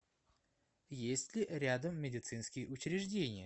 есть ли рядом медицинские учреждения